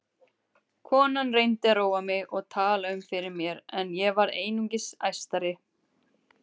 Konan reyndi að róa mig og tala um fyrir mér en ég varð einungis æstari.